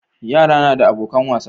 Yara nada abokan wasa